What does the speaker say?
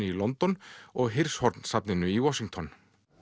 í London og safninu í Washington